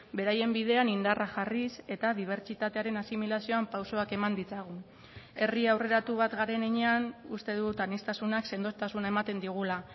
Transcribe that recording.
beraien bidean indarra jarriz eta dibertsitatearen asimilazioan pausoak eman ditzagun herri aurreratu bat garen heinean uste dut aniztasunak sendotasuna ematen digula